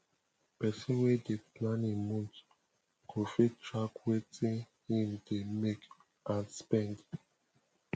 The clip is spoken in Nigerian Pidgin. pesin wey dey plan im month go fit track wetin im dey make and spend